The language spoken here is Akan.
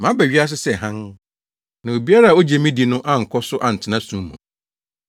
Maba wiase sɛ hann, na obiara a ogye me di no ankɔ so antena sum mu.